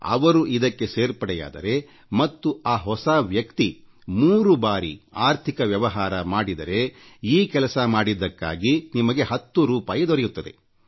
ಅವರು ಇದಕ್ಕೆ ಸೇರ್ಪಡೆಯಾದರೆ ಮತ್ತು ಆ ಹೊಸ ವ್ಯಕ್ತಿ ಮೂರು ಬಾರಿ ಆರ್ಥಿಕ ವ್ಯವಹಾರ ಮಾಡಿದರೆಈ ಕೆಲಸ ಮಾಡಿದ್ದಕ್ಕಾಗಿ ನಿಮಗೆ 1೦ ರೂಪಾಯಿ ದೊರೆಯುತ್ತದೆ